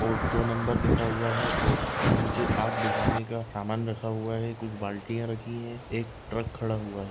और दो नंबर लिखा हुआ है और नीचे आग बुझाने का सामान रखा हुआ है कुछ बाल्टियां रखी है एक ट्रक खड़ा हुआ है।